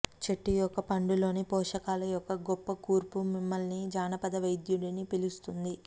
చెట్టు యొక్క పండులోని పోషకాల యొక్క గొప్ప కూర్పు మిమ్మల్ని జానపద వైద్యుడిని పిలుస్తుంది